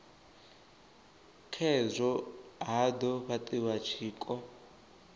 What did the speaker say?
khazwo ha do fhatiwa tshiko